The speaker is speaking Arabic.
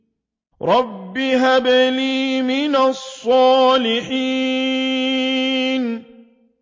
رَبِّ هَبْ لِي مِنَ الصَّالِحِينَ